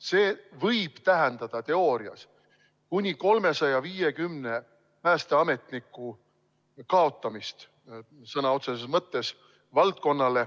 See võib teoorias valdkonnale tähendada kuni 350 päästeametniku kaotamist.